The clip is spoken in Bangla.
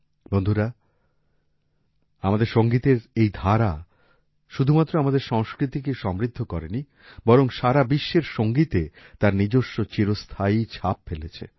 বন্ধুরা আমাদের সংগীতের এই ধারা শুধুমাত্র আমাদের সংস্কৃতিকেই সমৃদ্ধ করেনি বরং সারা বিশ্বের সংগীতে তার নিজস্ব চিরস্থায়ী ছাপ ফেলেছে